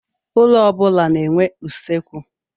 Ụlọ ọ bụla na-enwe usekwu.